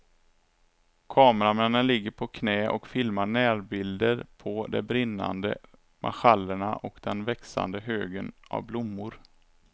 Kameramännen ligger på knä och filmar närbilder på de brinnande marschallerna och den växande högen av blommor.